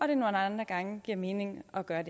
nogle andre gange giver mening at gøre